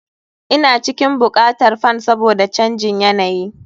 Ina cikin buƙatar fan saboda canjin yanayi.